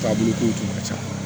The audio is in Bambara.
Taabolo kow tun ka ca